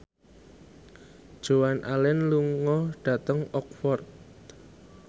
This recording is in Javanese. Joan Allen lunga dhateng Oxford